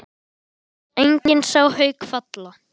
Enginn sá Hauk falla.